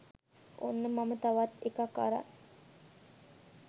ඔන්න මම තවත් එකක් අරන්